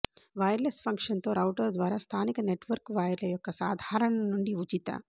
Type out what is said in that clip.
wireless ఫంక్షన్తో router ద్వారా స్థానిక నెట్వర్క్ వైర్ల యొక్క సాధారణ నుండి ఉచిత